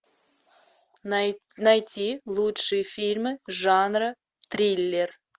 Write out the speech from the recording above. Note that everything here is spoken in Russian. найти лучшие фильмы жанра триллер